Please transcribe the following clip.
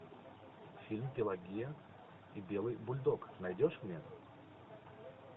фильм пелагея и белый бульдог найдешь мне